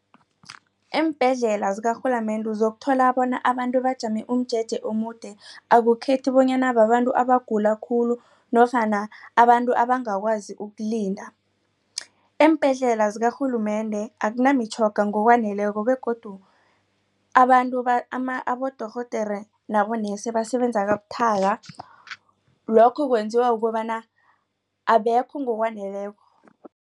Eembhedlela zikarhulumende zokuthola bona abantu bajame umjeje omude akukhethi bonyana babantu abagula khulu nofana abantu abangakwazi ukulinda. Eembhedlela zikarhulumende akunamitjhoga ngokwaneleko begodu abantu abodorhodere basebenza kabuthaka lokho kwenziwa ukobana abekho ngokwaneleko.